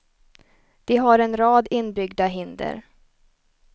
De har en rad inbyggda hinder.